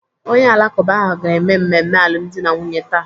Onye Alakụba ahụ ga-eme mmemme alụmdi na nwunye taa.